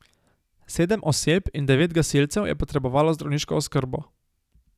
Sedem oseb in devet gasilcev je potrebovalo zdravniško oskrbo.